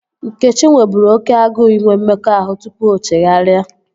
Nkechi nweburu oké agụụ inwe mmekọahụ tupu o chegharịa